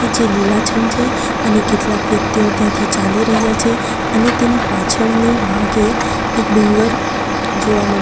જે લીલાછમ છે અને કેટલાક વ્યક્તિઓ ત્યાંથી ચાલી રહ્યા છે અને તેની પાછળની ભાગે એક ડુંગર જોવા મળે--